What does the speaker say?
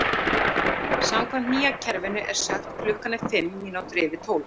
Samkvæmt nýja kerfinu er sagt: Klukkan er fimm mínútur yfir tólf.